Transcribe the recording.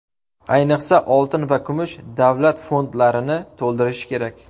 Ayniqsa, oltin va kumush davlat fondlarini to‘ldirishi kerak.